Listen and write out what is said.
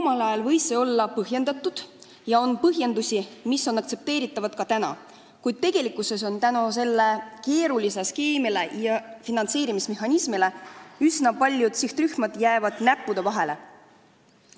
Omal ajal võis see olla põhjendatud ja on põhjendusi, mis on aktsepteeritavad ka praegu, kuid tegelikkuses jäävad selle keerulise skeemi ja finantseerimismehhanismi tõttu üsna paljud sihtrühmad kahe silma vahele.